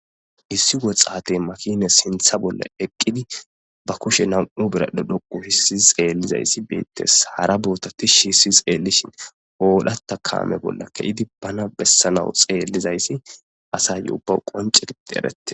issi woxaate makine sintha bolla eqqidi ba kushe nam7u biradu dhoqu hissi xeellizayssi beettes hara boota tishi hissi xeellishin oodhata kaame bolla ke7idi bana bessanau xeellizayssi asayye ubbaw qonce gitti erette